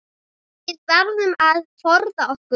Við verðum að forða okkur.